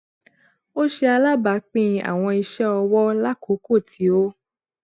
o ṣe alabaapin awọn iṣẹọwọ lakooko ti o